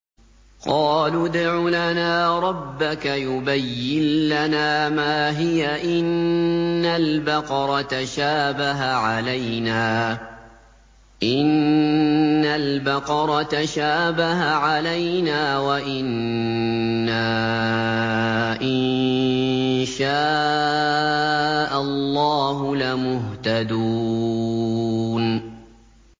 قَالُوا ادْعُ لَنَا رَبَّكَ يُبَيِّن لَّنَا مَا هِيَ إِنَّ الْبَقَرَ تَشَابَهَ عَلَيْنَا وَإِنَّا إِن شَاءَ اللَّهُ لَمُهْتَدُونَ